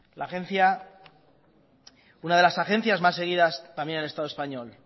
la agencia una de las agencias más seguidas también en el estado español